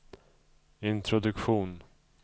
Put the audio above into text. introduktion